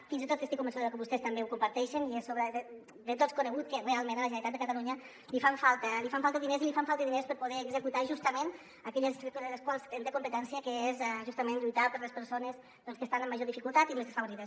fins i tot estic convençuda que vostès també ho comparteixen i és de tots conegut que realment a la generalitat de catalunya li fan falta diners i li fan falta diners per poder executar justament aquelles coses de les quals en té competència que és justament lluitar per les persones que estan en major dificultat i més desfavorides